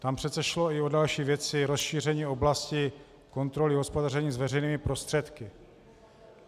Tam přece šlo i o další věci - rozšíření oblasti kontroly hospodaření s veřejnými prostředky.